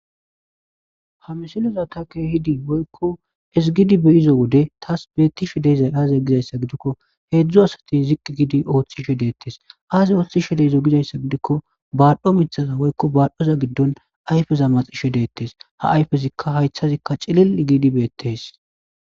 Ha misilazakka keehidi woykko ezgidi be7ido wode thas beeththishe dizay aazee gizayssa gidikko heezzu asathii ziqqi gidi ooththishe deeththes;aazee ooththishe de7izoy gizayssa gidikko baadhdho miththatha woykko baadhdhoza giddon ayfeza maxishe deeththes;ha ayfezikka haysththazikka cilil7i giidi beeththees.